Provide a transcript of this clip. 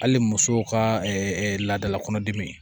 Hali musow ka laadala kɔnɔdimi in